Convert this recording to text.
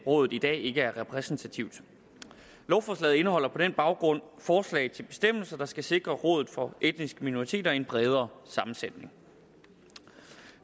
rådet i dag ikke er repræsentativt lovforslaget indeholder på den baggrund forslag til bestemmelser der skal sikre rådet for etniske minoriteter en bredere sammensætning